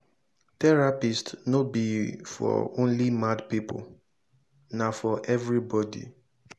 therapist no be for only mad pipo na for everybody